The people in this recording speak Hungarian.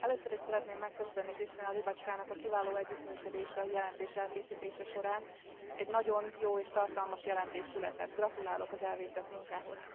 Először is szeretném megköszönni Krystyna Łybackának a kiváló együttműködést a jelentés elkészítése során, egy nagyon jó és tartalmas jelentés született, gratulálok az elvégzett munkához.